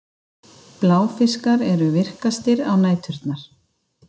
Bláfiskar eru virkastir á næturnar.